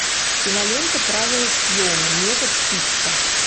кинолента правила съема метод хитча